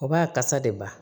O b'a kasa de ba